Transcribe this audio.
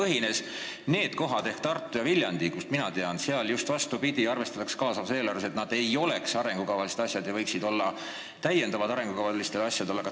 Nendes kohades, mida mina tean, ehk Tartus ja Viljandis on just vastupidi: kaasava eelarve puhul arvestatakse sellega, et seal ei oleks arengukavalised asjad, seal võiks olla midagi täiendavat.